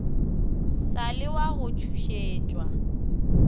sa le wa go tšhošetšwa